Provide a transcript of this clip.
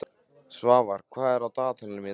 Svafar, hvað er á dagatalinu mínu í dag?